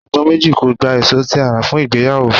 Agbọ̀n méjì kò gba èso tí a rà fún ìgbéyàwó.